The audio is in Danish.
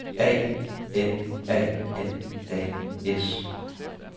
A N A N A S